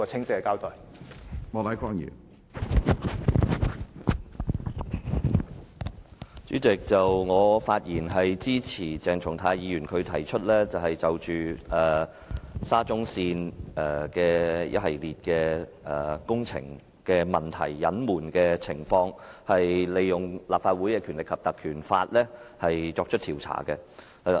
主席，我發言支持鄭松泰議員提出的議案，議案建議就沙田至中環線一系列工程問題的隱瞞情況，引用《立法會條例》作出調查。